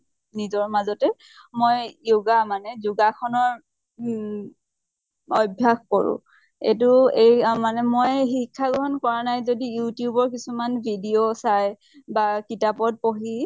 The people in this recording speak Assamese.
নজৰ মাজতে মই yoga মানে যোগাসনৰ ঊম অভ্য়াস কৰো। এইটো এই মানে মই শিক্ষা গ্ৰহন কৰা নাই যদি youtube ৰ কিছুমান video চাই বা কিতাপত পঢ়ি